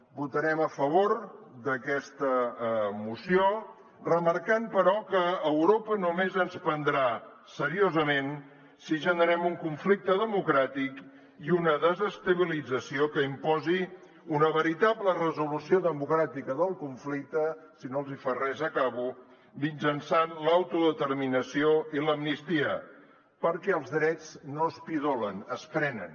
votarem a favor d’aquesta moció remarcant però que europa només ens prendrà seriosament si generem un conflicte democràtic i una desestabilització que imposin una veritable resolució democràtica del conflicte si no els hi fa res acabo mitjançant l’autodeterminació i l’amnistia perquè els drets no es pidolen es prenen